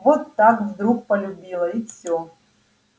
вот так вдруг полюбила и всё